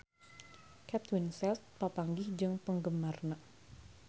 Kate Winslet papanggih jeung penggemarna